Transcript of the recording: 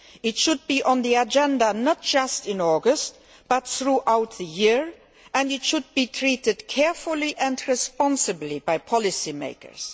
It should be on the agenda not just in August, but throughout the year, and it should be treated carefully and responsibly by policy makers.